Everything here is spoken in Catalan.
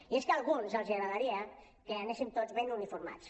i és que a alguns els agradaria que anéssim tots ben uniformats